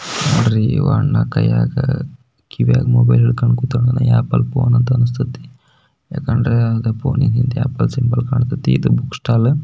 ನೋಡ್ರಿ ಈ ಅಣ್ಣ ಕೈಯಾಗ ಕಿವಿಯಾಗ ಮೊಬೈಲ್ ಇಟ್ಟಿಕೊಂಡು ಕುತನ ಆಪಲ್ ಫೋನ್ ಅನ್ನಸ್ತೈತಿ ಯಕೆಂದ್ರೆ ಫೋನಿಗೆ ಆಪಲ್ ಸಿಂಬಲ್ ಕಾಣ್ತತಿ ಇದು ಬುಕ್ ಸ್ಟಾಲ್ --